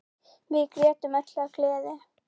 Við grétum öll af gleði.